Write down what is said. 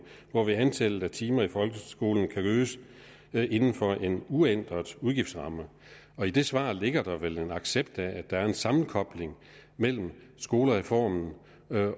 hvorved antallet af timer i folkeskolen kan øges inden for en uændret udgiftsramme i det svar ligger der vel en accept af at der er en sammenkobling mellem skolereformen